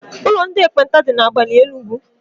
Ụlọ ndị ekpenta dị na Agbani Enugu.